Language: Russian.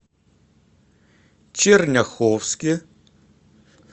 черняховске